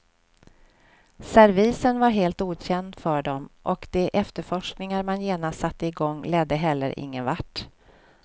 Servisen var helt okänd för dem och de efterforskningar man genast satte i gång ledde heller ingenvart.